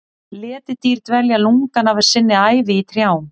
Letidýr dvelja lungann af sinni ævi í trjám.